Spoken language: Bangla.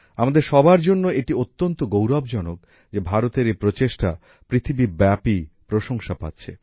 আমাদের সবার জন্য এটি অত্যন্ত গৌরবজনক যে ভারতের এই প্রচেষ্টা পৃথিবীব্যাপী প্রশংসা পাচ্ছে